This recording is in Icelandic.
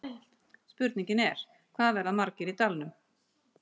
Spurningin er, hvað verða margir í dalnum?